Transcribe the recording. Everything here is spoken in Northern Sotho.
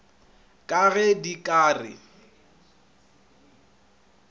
ka ge di ka re